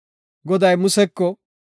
Goday Museko,